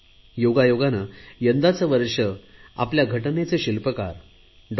योगायोगाने यंदाचे वर्ष आपल्या घटनेचे शिल्पकार डॉ